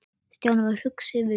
Stjáni varð hugsi yfir þessu.